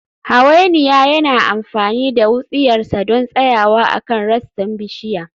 Hawainiya yana amfani da wutsiyarsa don tsayawa akan rassan bishiya